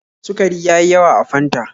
Sukari ya yi yawa a Fanta